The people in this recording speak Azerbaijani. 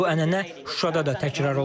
Bu ənənə Şuşada da təkrar olundu.